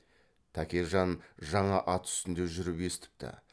тәкежан жаңа ат үстінде жүріп естіпті